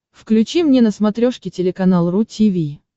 включи мне на смотрешке телеканал ру ти ви